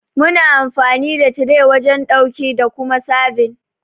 Muna amfani da tire wajen dauki da Kuma serbin.